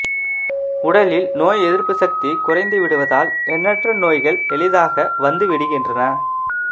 உடலில் நோய் எதிர்ப்பு சக்தி குறைந்து விடுவதால் எண்ணற்ற நோய்கள் எளிதாக வந்து விடுகின்றன